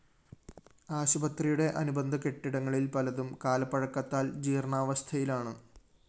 ആശുപത്രിയുടെ അനുബന്ധ കെട്ടിടങ്ങളില്‍ പലതും കാലപ്പഴക്കത്താല്‍ ജീര്‍ണാവസ്ഥയിലാണ്